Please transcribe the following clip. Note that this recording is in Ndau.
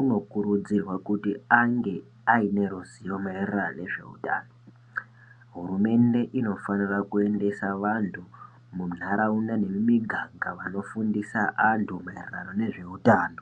uno kurudzirwa kuti ange aine ruzivo ma ererano nezve utano hurumende ino fanira kuendesa vantu mu ndaraunda nemu miganga vano fundisa antu maererano nezve utano.